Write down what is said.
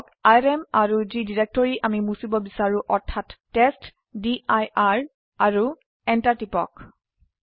লিখক আৰএম আৰু যি ডিৰেক্টৰি আমি মুছিব বিসাৰো অৰ্থাৎ টেষ্টডিৰ আৰু এণ্টাৰ টিপক